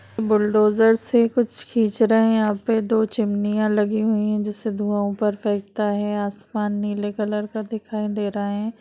Bulldozer से कुछ खिंच रहे है यहाँ पे दो चिमनियां लगी हुई है जिससे धुआँ ऊपर फेकता है आसमान नीले कलर का दिखाई दे रहा है।